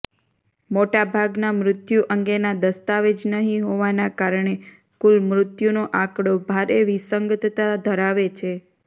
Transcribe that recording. મોટાભાગના મૃત્યુ અંગેના દસ્તાવેજ નહિ હોવાના કારણે કુલ મૃત્યુનો આંકડો ભારે વિસંગતતા ધરાવે છે